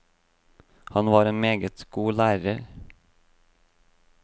Han var en meget god lærer.